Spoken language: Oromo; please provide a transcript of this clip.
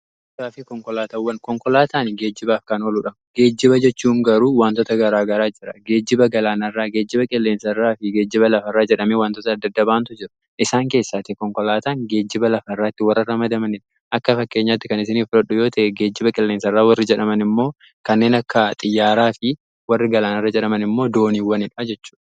Geejjibaa fi konkolaataawwan, konkolaataan geejjibaaf kan ooludha geejjiba jechuun garuu wantoota garaa garaa jira geejjiba galaanarraa geejiba qilleensa irraa fi geejjiba lafarraa jedhamii wantoota adda addaatu jiru. Isaan keessaati konkolaataan geejjiba lafaa irraatti warra ramadamaniin akka fakkeenyaatti kan isinii filadhu yoo ta'an geejjiba qilleensa irra warri jedhaman immoo kanneen akka xiyyaaraa fi warri galaanarra jedhaman immoo dooniiwwan jechudha.